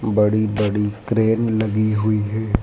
बड़ी बड़ी क्रेन लगी हुई है।